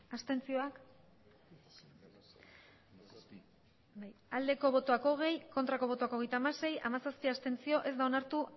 abstentzioa hogei bai hogeita hamasei ez hamazazpi abstentzio ez da onartu